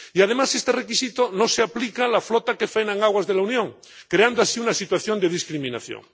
Y, además, este requisito no se aplica a la flota que faena en aguas de la Unión, creando así una situación de discriminación.